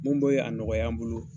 Mun bɛ a nɔgɔya an bolo.